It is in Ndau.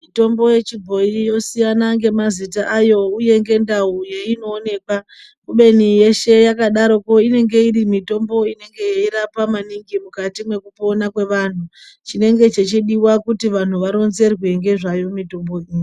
Mitombo yechibhoyi yosiyana ngemazita ayo uye, ngendawo yayinowoneka kubeni yeshe yakadaro inenhe irimitombo inenge irapa maningi mukati mekupona kwevantu. Chinenge chechidiwa kuti vanhu varonzerwe ngezvayo mitombo yinoyi.